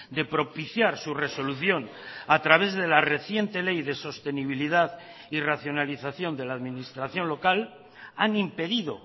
de propiciar su resolución a través de la reciente ley de sostenibilidad y racionalización de la administración local han impedido